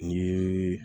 Ni